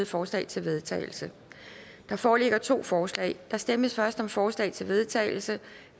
forslag til vedtagelse der foreligger to forslag der stemmes først om forslag til vedtagelse